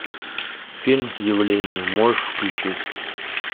фильм явление можешь включить